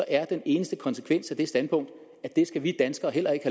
er den eneste konsekvens af det standpunkt at det skal vi danskere heller ikke